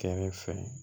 Kɛrɛ fɛ